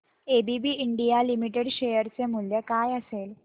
ABB India limited share चे मूल्य काय असेल